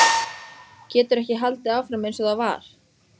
Getur ekki haldið áfram einsog það var.